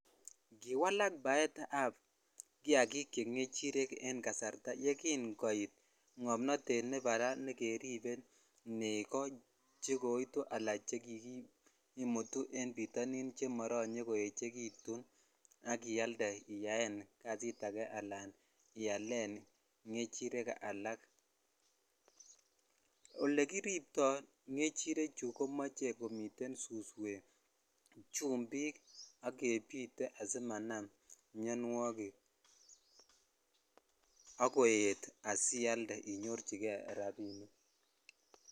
Kiwalak baetab kiakik che ng'echirek en kasarta yeking'oit ng'omnotet nebo raa nekeribo nekoo chekoitu alan chekikimutu en bitonin chemotinye koechekitun ak ialde iyaen kasit akee alaan ialen ng'echirek alak, olekiribto ng'echirechu komoche komiten suswek, chumbik ak kebite asimanam mionwokik ak koet asialde inyorchike rabinik.